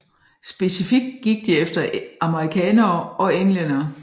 Specifikt gik de efter amerikanere og englændere